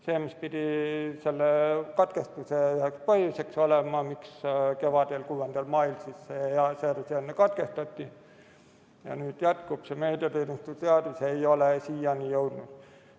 ... see, mis pidi selle katkestuse põhjuseks olema, miks kevadel, 6. mail katkestati ja nüüd jätkub – see meediateenuste seadus ei ole siiani jõudnud.